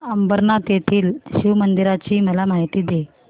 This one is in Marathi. अंबरनाथ येथील शिवमंदिराची मला माहिती दे